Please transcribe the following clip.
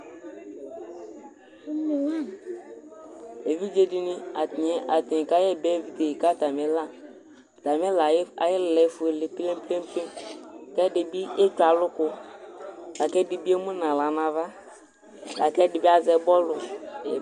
eʋɩɗjeɗɩnɩ atanɩ ƙaƴɛƴɩɓʊɛ ƙatamɩla aƴɩlaƴɛ eƒʊele pempem ƙɛɗɩɓɩ etsʊalʊƙʊ laƙɛɗɩmɩemʊnahlanaʋa laƙɛɗɩɓɩazɛ ɓɔlʊ